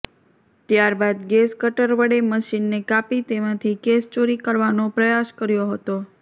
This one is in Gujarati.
ત્યારબાદ ગેસ કટર વડે મશીનને કાપી તેમાંથી કેસ ચોરી કરવાનો પ્રયાસ કર્યાે હતો